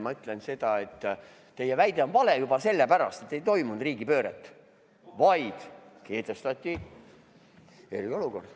Ma ütlen seda, et teie väide on vale juba sellepärast, et ei toimunud riigipööret, vaid kehtestati eriolukord.